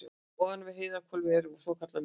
ofan við heiðhvolfið er svokallað miðhvolf